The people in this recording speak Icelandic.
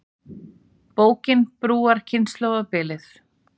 Bókin brúar kynslóðabilið